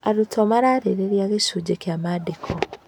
Arutwo mararĩrĩria gĩcunjĩ kĩa maandĩko.